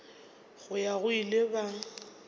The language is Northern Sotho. go ya go ile ba